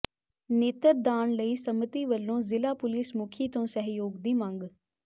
ਨੇਤਰ ਦਾਨ ਲਈ ਸੰਮਤੀ ਵਲੋਂ ਜ਼ਿਲ੍ਹਾ ਪੁਲਿਸ ਮੁਖੀ ਤੋਂ ਸਹਿਯੋਗ ਦੀ ਮੰਗ